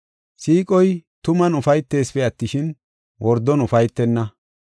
Siiqoy tuman ufaytesipe attishin, wordon ufaytenna.